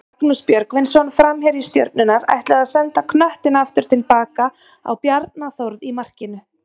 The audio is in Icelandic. Magnús Björgvinsson framherji Stjörnunnar ætlaði að senda knöttinn aftur tilbaka á Bjarna Þórð í markinu.